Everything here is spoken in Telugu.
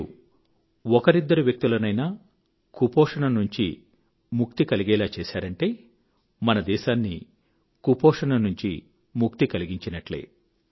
మీరు ఒకరిద్దరు వ్యక్తులనైనా కుపోషణ నుంచి ముక్తి కలిగేలా చేశారంటే మన దేశాన్ని కుపోషణ నుంచి ముక్తి కలిగినట్టే